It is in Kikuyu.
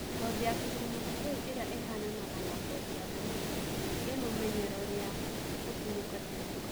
Ngothi ya kigurumoki kiu iria ihananaga na ngothi ya thamaki, ii mumenyero ria gutinuka tinuka